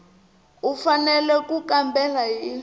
u fanele ku kambela hi